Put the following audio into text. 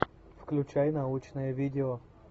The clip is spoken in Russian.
включай научное видео